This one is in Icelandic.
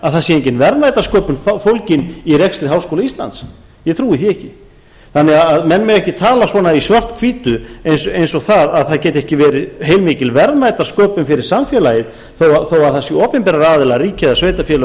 að það sé engin verðmætasköpun fólgin í rekstri háskóla íslands ég trúi því ekki þannig að menn mega ekki tala svona í svarthvítu eins og það að það geti ekki verið heilmikil verðmætasköpun fyrir samfélagið þó það séu opinberir aðilar ríki eða sveitarfélög